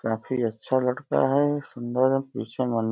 काफी अच्छा लड़का है सुंदर है। पीछे मन --